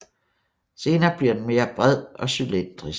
Senere bliver den mere bred og cylindrisk